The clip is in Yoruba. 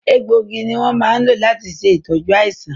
egbò igi ni won máa ń lò láti ṣe ìtọ́jú àìsàn